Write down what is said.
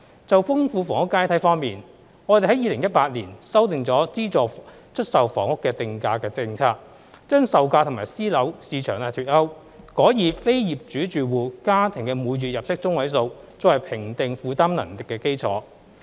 就豐富房屋階梯方面，我們在2018年修訂了資助出售房屋的定價政策，將售價與私樓市場脫鈎，改以非業主住戶家庭每月入息中位數作為評定負擔能力的基礎。